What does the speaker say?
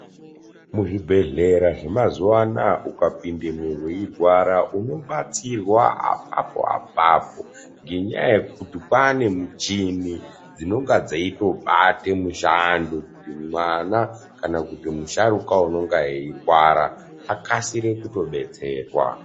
Muzvibhedhleya zvemazuwa anaya ukapindemwo weirwara unobatsirwa apapo apapo ngenyaya yekuti kwaane muchini dzinenge dzeitobate mushando kuti mwana kana kuti musharukwa unenge eirwara akasire kutodetserwa.